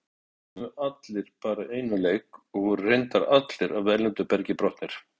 Þeir stjórnuðu allir bara einum leik og voru reyndar allir af erlendu bergi brotnir.